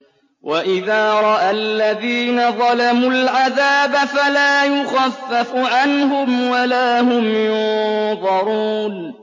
وَإِذَا رَأَى الَّذِينَ ظَلَمُوا الْعَذَابَ فَلَا يُخَفَّفُ عَنْهُمْ وَلَا هُمْ يُنظَرُونَ